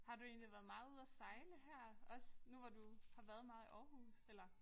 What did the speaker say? Har du egentlig været meget ude at sejle her også nu hvor du har været meget i Aarhus eller